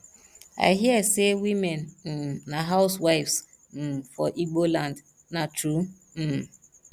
i hear say women um na housewives um for igbo land na true um